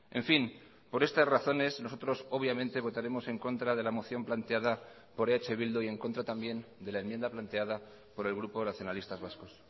en fin por estas razones nosotros obviamente votaremos en contra de la moción planteada por eh bildu y en contra también de la enmienda planteada por el grupo nacionalistas vascos